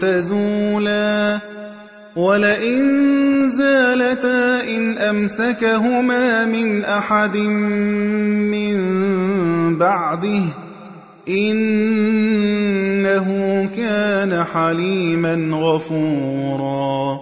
تَزُولَا ۚ وَلَئِن زَالَتَا إِنْ أَمْسَكَهُمَا مِنْ أَحَدٍ مِّن بَعْدِهِ ۚ إِنَّهُ كَانَ حَلِيمًا غَفُورًا